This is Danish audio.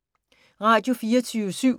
Radio24syv